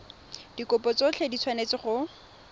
dikopo tsotlhe di tshwanetse go